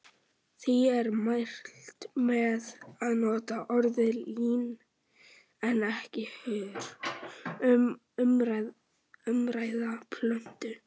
Því er mælt með að nota orðið lín en ekki hör um umrædda plöntu.